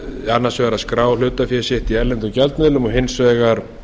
annars vegar að skrá hlutafé sitt í erlendum gjaldmiðlum og hins vegar